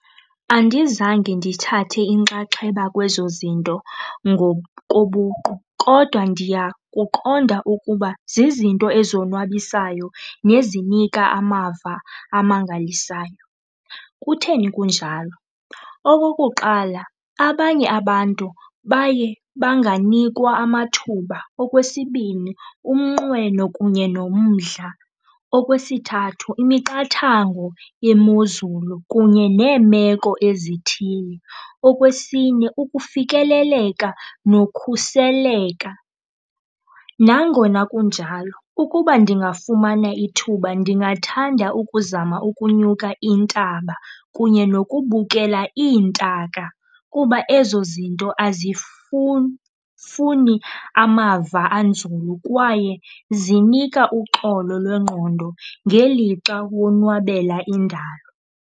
Andizange ndithathe inxaxheba kwezo zinto ngokobuqu kodwa ndiyakuqonda ukuba zizinto ezonwabisayo nezinika amava amangalisayo. Kutheni kunjalo? Okokuqala, abanye abantu baye banganikwa amathuba. Okwesibini, umnqweno kunye nomdla. Okwesithathu, imiqathango yemozulu kunye neemeko ezithile. Okwesine, ukufikeleleka nokhuseleka. Nangona kunjalo ukuba ndingafumana ithuba ndingathanda ukuzama ukunyuka intaba kunye nokubukela iintaka kuba ezo zinto funi amava anzulu kwaye zinika uxolo lwengqondo ngelixa wonwabela indalo.